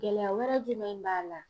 Gɛlɛya wɛrɛ jumɛn b'a la.